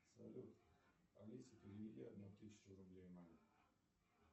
салют алиса переведи одну тысячу рублей маме